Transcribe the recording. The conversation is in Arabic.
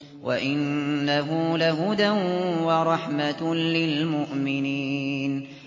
وَإِنَّهُ لَهُدًى وَرَحْمَةٌ لِّلْمُؤْمِنِينَ